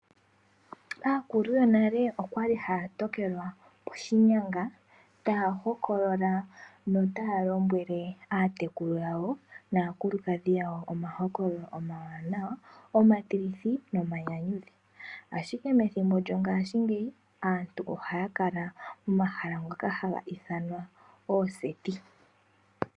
Aakulu yonale oyali haya tokelwa poshinyanga taya hokolola notaya lombwele aatekulu yawo naakulukadhi omahololo omawanawa, omatilithi nomanyanyudhi, ashike pethimbo lyongaashingeyi aantu ohaya kala momahala ngoka haga ithanwa ooseti.